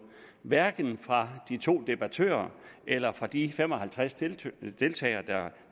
hverken fra de to debattører eller de fem og halvtreds der